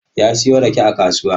Ya siyo rake a kasuwa.